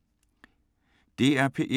DR P1